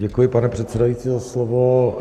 Děkuji, pane předsedající, za slovo.